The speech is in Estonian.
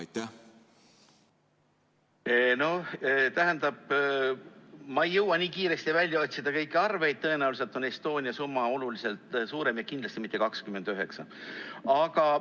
Ma ei jõua nii kiiresti välja otsida kõiki arve, tõenäoliselt on Estonia summa oluliselt suurem ja kindlasti mitte 29 miljonit.